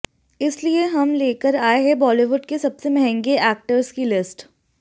इसलिए हम लेकर आए हैं बॉलीवुड के सबसे महंगे एक्टर्स की लिस्ट